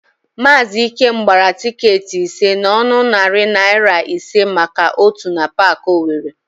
Maazị Ikem gbara tịketị ise n'ọnụ narị naịra ise maka ótù na Paakị Owere.